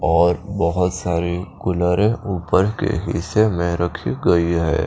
और बोहोत सारे कुलरे उपर के हिस्से में रखी गई है।